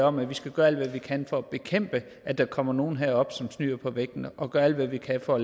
om at vi skal gøre alt hvad vi kan for at bekæmpe at der kommer nogle herop som snyder på vægten og gøre alt hvad vi kan for